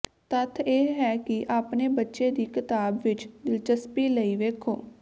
ਤੱਥ ਇਹ ਹੈ ਕਿ ਆਪਣੇ ਬੱਚੇ ਦੀ ਕਿਤਾਬ ਵਿੱਚ ਦਿਲਚਸਪੀ ਲਈ ਵੇਖੋ